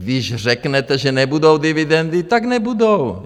Když řeknete, že nebudou dividendy, tak nebudou.